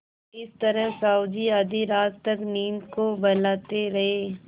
इस तरह साहु जी आधी रात तक नींद को बहलाते रहे